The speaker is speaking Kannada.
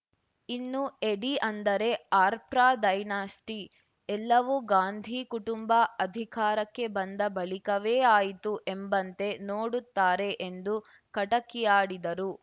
ಇನ್ನು ಎಡಿ ಅಂದರೆ ಆಫ್ಟರ್‌ ಡೈನಸ್ಟಿ ಎಲ್ಲವೂ ಗಾಂಧೀ ಕುಟುಂಬ ಅಧಿಕಾರಕ್ಕೆ ಬಂದ ಬಳಿಕವೇ ಆಯಿತು ಎಂಬಂತೆ ನೋಡುತ್ತಾರೆ ಎಂದು ಕಟಕಿಯಾಡಿದರು